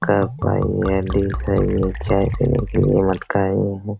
Cup हइए हइए चाय पीने के लिए मटका हइए।